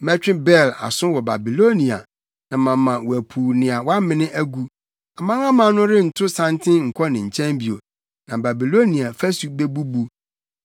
Mɛtwe Bel aso wɔ Babilonia na mama wapuw nea wamene agu. Amanaman no rento santen nkɔ ne nkyɛn bio. Na Babilonia fasu bebubu.